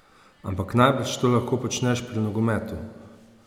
Ampak najbrž to lahko počneš pri nogometu.